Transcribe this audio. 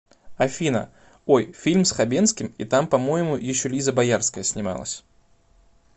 афина ой фильм с хабенским и там по моему еще лиза боярская снималась